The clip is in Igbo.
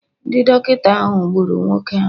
Ndị dọkịta ahụ gburu nwoke ahụ